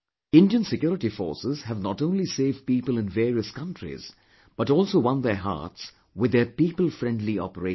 Indian security forces have not only saved people in various countries but also won their hearts with their people friendly operations